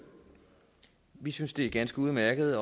vi synes det er ganske udmærket at